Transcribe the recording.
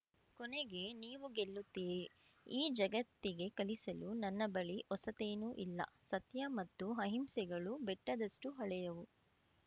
ಕೊನೆಗೆ ನೀವು ಗೆಲ್ಲುತ್ತೀರಿ ಈ ಜಗತ್ತಿಗೆ ಕಲಿಸಲು ನನ್ನ ಬಳಿ ಹೊಸತೇನೂ ಇಲ್ಲ ಸತ್ಯ ಮತ್ತು ಅಹಿಂಸೆಗಳು ಬೆಟ್ಟದಷ್ಟುಹಳೆಯವು